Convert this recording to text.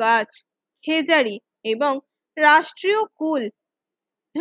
bird Khejri এবং রাষ্ট্রীয় ফুল